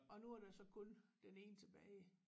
Og nu er der så kun den ene tilbage